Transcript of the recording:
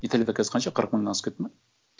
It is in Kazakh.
италияда қазір қанша қырық мыңнан асып кетті ме